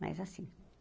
Mas, assim.